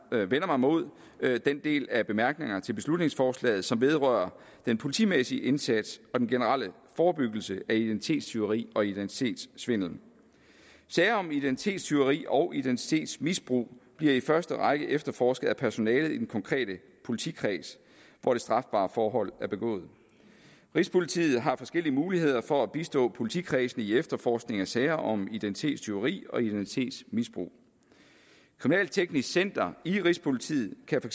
mig mod den del af bemærkningerne til beslutningsforslaget som vedrører den politimæssige indsats og den generelle forebyggelse af identitetstyveri og identitetssvindel sager om identitetstyveri og identitetsmisbrug bliver i første række efterforsket af personalet i den konkrete politikreds hvor det strafbare forhold er begået rigspolitiet har forskellige muligheder for at bistå politikredsene i efterforskningen af sager om identitetstyveri og identitetsmisbrug kriminalteknisk center i rigspolitiet kan